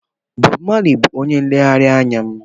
Bob Marley bụ onye nlereanya m.